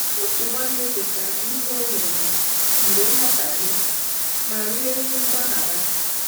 Otu nwanne kwetara ihe o mejọrọ mgbe nghọtahie ma rịọ ezi mgbaghara.